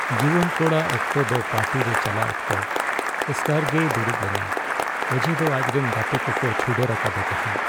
ᱡᱩᱣᱟᱱ ᱠᱚᱲᱟ ᱚᱠᱛᱚ ᱫᱚ ᱯᱟᱨᱴᱤ ᱪᱟᱞᱟᱜ ᱚᱠᱛᱚ ᱮᱥᱠᱟᱨᱜᱮᱭ ᱫᱩᱲᱩᱵ ᱞᱮᱱᱟ ᱚᱡᱮᱫᱚ ᱟᱡ ᱨᱮᱱ ᱜᱟᱛᱮ ᱠᱚᱠᱚ ᱪᱷᱩᱰᱟᱹᱨ ᱟᱠᱟᱫᱮ ᱛᱟᱦᱮᱸ ᱾